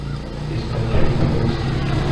искать фильм холостяки